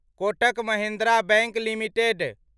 Kotak Mahindra bank limited